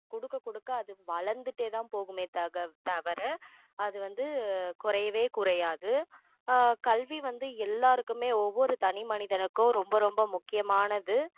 கொடுக்க கொடுக்க அது வளர்ந்துட்டேதான் போகுமே தக~ தவிர அது வந்து குறையவே குறையாது ஆஹ் கல்வி வந்து எல்லாருக்குமே ஒவ்வொரு தனிமனிதனுக்கும் ரொம்ப ரொம்ப முக்கியமானது~